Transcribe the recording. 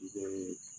I bɛ